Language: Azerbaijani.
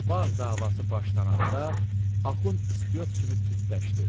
Bağ davası başlananda Axund istoyot kimi tündləşdi.